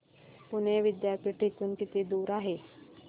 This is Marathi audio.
पुणे विद्यापीठ इथून किती दूर आहे